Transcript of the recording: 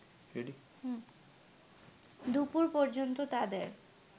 দুপুর পর্যন্ত তাদের